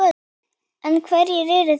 En hverjir eru þeir?